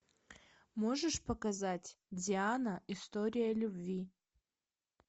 можешь показать диана история любви